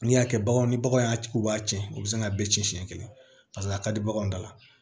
N'i y'a kɛ baganw ni baganw y'a k'u b'a tiɲɛ u bɛ sin k'a bɛɛ cɛn siɲɛ kelen paseke a ka di baganw dala